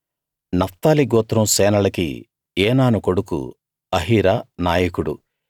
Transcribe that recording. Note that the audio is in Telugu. నఫ్తాలి గోత్రం సేనలకి ఏనాను కొడుకు అహీరా నాయకుడు